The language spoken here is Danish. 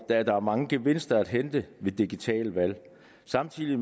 der er mange gevinster at hente ved digitale valg samtidig